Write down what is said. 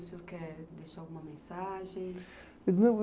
O senhor quer deixar alguma mensagem?